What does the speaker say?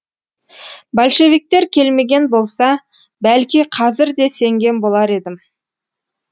большевиктер келмеген болса бәлки қазір де сенген болар едім